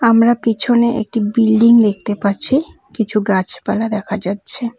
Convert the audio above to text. আমরা পেছনে একটি বিল্ডিং দেখতে পাচ্ছি কিছু গাছপালা দেখা যাচ্ছে।